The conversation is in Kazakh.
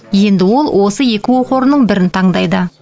енді ол осы екі оқу орнының бірін таңдайды